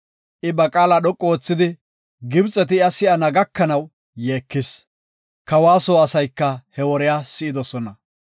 I ba qaala dhoqu oothidi, Gibxeti iya si7ana gakanaw yeekis; kawa soo asayka he woriya si7idosona.